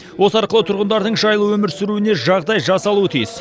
осы арқылы тұрғындардың жайлы өмір сүруіне жағдай жасалуы тиіс